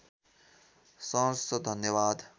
सहर्ष धन्यवाद